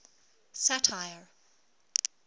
satire